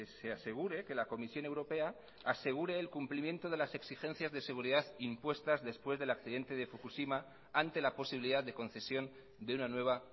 se asegure que la comisión europea asegure el cumplimiento de las exigencias de seguridad impuestas después del accidente de fukushima ante la posibilidad de concesión de una nueva